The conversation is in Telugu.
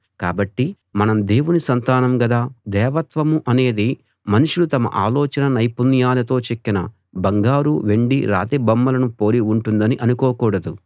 కాబట్టి మనం దేవుని సంతానం గదా దేవత్వం అనేది మనుషులు తమ ఆలోచనా నైపుణ్యాలతో చెక్కిన బంగారు వెండి రాతి బొమ్మలను పోలి ఉంటుందని అనుకోకూడదు